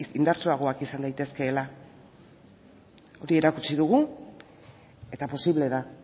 indartsuagoak izan daitezkeela hori erakutsi dugu eta posible da